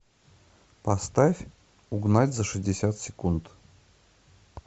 поставь угнать за шестьдесят секунд